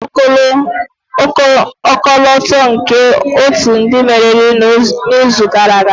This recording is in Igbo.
Ha wepụrụ ọkọlọtọ nke otu ndị meriri n'izu gara aga.